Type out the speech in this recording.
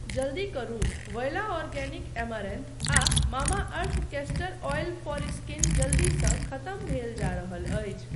जल्दी करु, voila organic amaranth आ Mamaearth castor oil for skin जल्दीसँ खतम भेल जा रहल अछि।